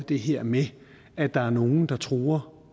det her med at der er nogle der truer